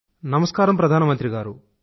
నమస్కారం ప్రధానమంత్రి గారూ